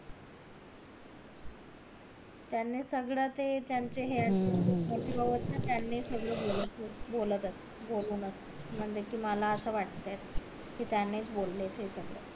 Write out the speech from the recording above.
त्यांनी सगळे ते त्याचे हे आहेत त्यांनी सगळे ते बोलत म्हणले मला असं वाट कि त्याने च बोल हे सगळं